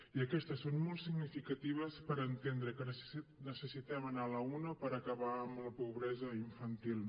i aquestes són molt significatives per entendre que necessitem anar a l’una per acabar amb la pobresa infantil